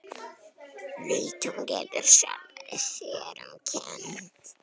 Veit að hún getur sjálfri sér um kennt.